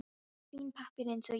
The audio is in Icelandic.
Hún er fínn pappír eins og ég.